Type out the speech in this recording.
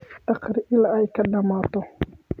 Akhri ilaa ay ka dhamaato.